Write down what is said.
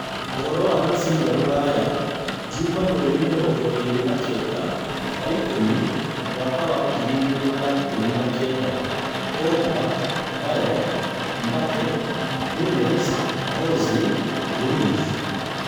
Ũhoro wa mũbira rũraya Juma mweri mĩrongo ĩĩrĩ na kenda wa-ikũmi mwaka wa Ngiri igĩrĩ na ikũmi na kenda: Pogba, Bale, Mbappe, Nunez, Ozil, Luiz